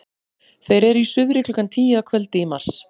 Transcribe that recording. þeir eru í suðri klukkan tíu að kvöldi í mars